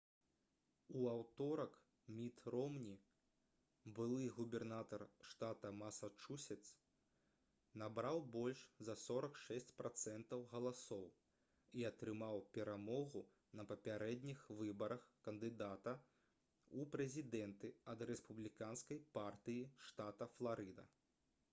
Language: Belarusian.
у аўторак міт ромні былы губернатар штата масачусетс набраў больш за 46 працэнтаў галасоў і атрымаў перамогу на папярэдніх выбарах кандыдата ў прэзідэнты ад рэспубліканскай партыі штата фларыда